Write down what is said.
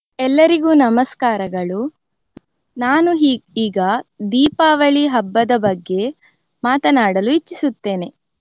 ಎಲ್ಲರಿಗೂ ನಮಸ್ಕಾರಗಳು. ನಾನು ಈಗ ದೀಪಾವಳಿ ಹಬ್ಬದ ಬಗ್ಗೆ ಮಾತನಾಡಲು ಇಚ್ಚಿಸುತ್ತೇನೆ.